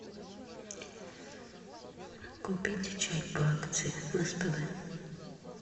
купить чай по акции в спб